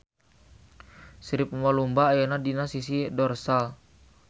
Sirip lumba-lumba ayana dina sisi dorsal.